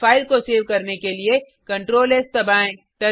file को save करने के लिए ctrls दबाएँ